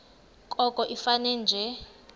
koko ifane nje